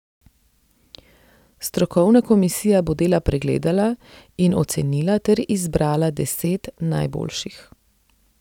Strokovna komisija bo dela pregledala in ocenila ter izbrala deset najboljših.